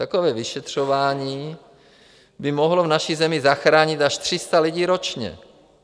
Takové vyšetřování by mohlo v naší zemi zachránit až 300 lidí ročně.